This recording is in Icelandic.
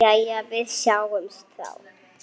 Jæja, við sjáumst þá.